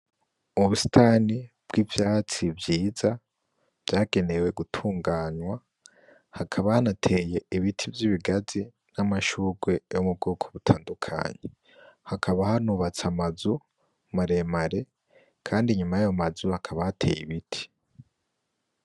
Ubusitani bw'ivyatsi vyiza vyagenewe gutunganwa hakaba hanateye ibiti vyibi gazi n'amashurwe yo mubwoko butandukanye hakaba hanubatse amazu maremare kandi inyuma yayo mazu hakaba hateye ibiti.